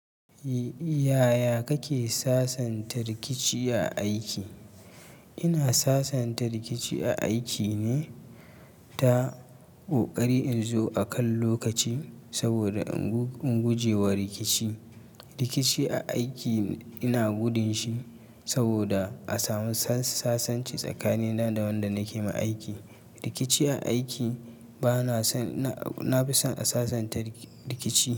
Yaya kake sasanta rikici a aiki? Ina sasanta rikici a aiki ne ta ƙoƙari in zo akan lokaci saboda in guje wa rikici. Rikici a aiki ina gudun shi saboda a samu sasanci tsakanina da wanda nake ma aiki. Rikici a aiki bana son, nafi son a sasanta rikici.